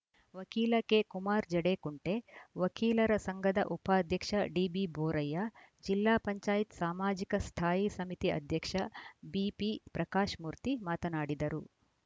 ವಕೀಲ ಕೆಕುಮಾರ್‌ಜಡೇಕುಂಟೆ ವಕೀಲರ ಸಂಘದ ಉಪಾಧ್ಯಕ್ಷ ಡಿಬಿಬೋರಯ್ಯ ಜಿಲ್ಲಾ ಪಂಚಾಯತ್ ಸಾಮಾಜಿಕ ಸ್ಥಾಯಿ ಸಮಿತಿ ಅಧ್ಯಕ್ಷ ಬಿಪಿಪ್ರಕಾಶ್‌ಮೂರ್ತಿ ಮಾತನಾಡಿದರು